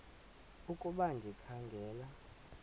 ukuba ndikha ngela